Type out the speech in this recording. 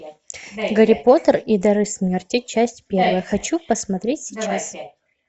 гарри поттер и дары смерти часть первая хочу посмотреть сейчас